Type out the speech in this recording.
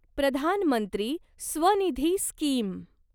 प्रधान मंत्री स्वनिधी स्कीम